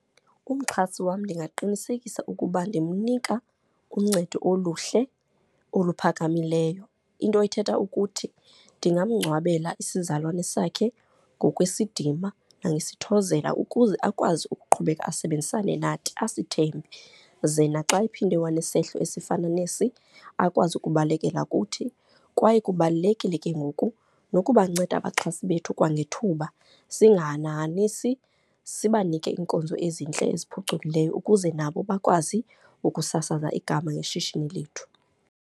Umxhasi wam ndingaqinisekisa ukuba ndimnika uncedo oluhle, oluphakamileyo. Into ethetha ukuthi ndingamgcwabela isizalwane sakhe ngokwesidima nangesithozela ukuze akwazi ukuqhubeka asebenzisane nathi asithembe, ze naxa iphinde wanesehlo esifana nesi akwazi ukubalekela kuthi. Kwaye kubalulekile ke ngoku nokubanceda abaxhasi bethu kwangethuba, singahanahanisi sibanike iinkonzo ezintle eziphucukileyo ukuze nabo bakwazi ukusasaza igama ngeshishini lethu.